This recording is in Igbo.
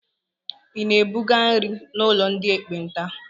Ị na-ebuga nri n'ụlọ ndị ekpenta?